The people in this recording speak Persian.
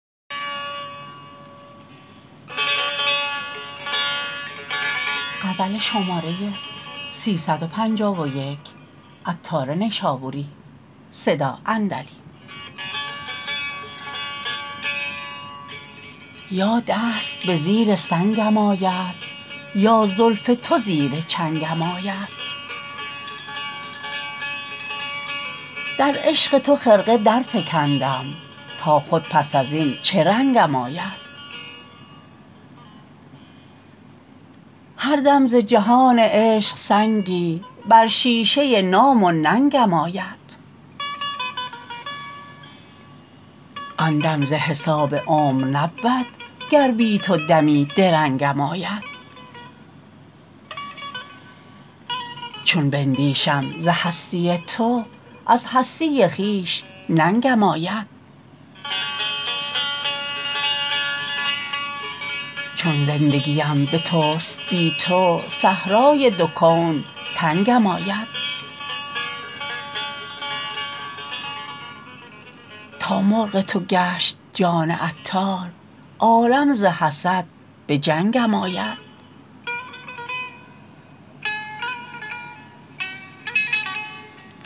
یا دست به زیر سنگم آید یا زلف تو زیر چنگم آید در عشق تو خرقه درفکندم تا خود پس ازین چه رنگم آید هر دم ز جهان عشق سنگی بر شیشه نام و ننگم آید آن دم ز حساب عمر نبود گر بی تو دمی درنگم آید چون بندیشم ز هستی تو از هستی خویش ننگم آید چون زندگیم به توست بی تو صحرای دو کون تنگم آید تا مرغ تو گشت جان عطار عالم ز حسد به جنگم آید